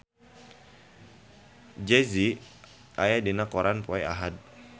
Jay Z aya dina koran poe Ahad